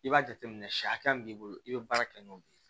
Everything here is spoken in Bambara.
I b'a jateminɛ siyɛ hakɛ min b'i bolo i bɛ baara kɛ n'o de ye